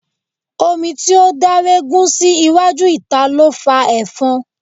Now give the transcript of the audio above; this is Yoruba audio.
Omi tí ó daregun sí iwájú ìta ló fa efon.